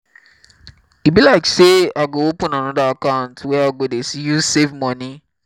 e be like sey i go open anoda account wey i go dey use save moni.